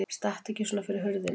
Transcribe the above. Stattu ekki svona fyrir hurðinni!